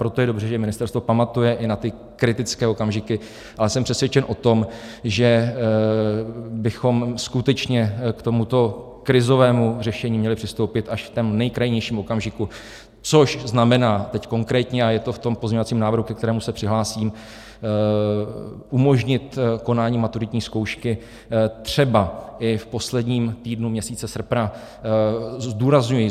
Proto je dobře, že ministerstvo pamatuje i na ty kritické okamžiky, ale jsem přesvědčen o tom, že bychom skutečně k tomuto krizovému řešení měli přistoupit až v tom nejkrajnějším okamžiku, což znamená teď konkrétně, a je to v tom pozměňovacím návrhu, ke kterému se přihlásím, umožnit konání maturitní zkoušky třeba i v posledním týdnu měsíce srpna.